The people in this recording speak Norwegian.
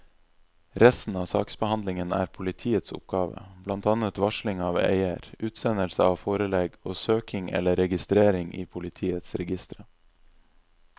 Resten av saksbehandlingen er politiets oppgave, blant annet varsling av eier, utsendelse av forelegg og søking eller registrering i politiets registre.